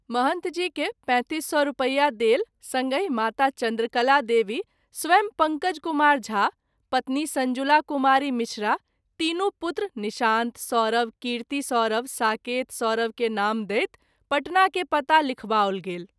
महंथ जी के ३५००/- रूपया देल संगहि माता- चन्द्रकला देवी, स्वयं पंकज कुमार झा, पत्नी संजुला कुमारी मिश्रा, तीनू पुत्र निशांत सौरभ, कीर्ति सौरभ, साकेत सौरभ के नाम दैत पटना के पता लिखबाओल गेल।